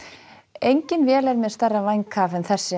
engin vél er með stærra vænghaf en þessi